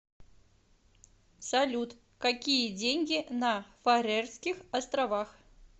салют какие деньги на фарерских островах